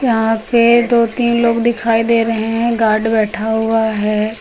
यहाँ पे दो तीन लोग दिखाई दे रहे हैं गार्ड बैठा हुआ है।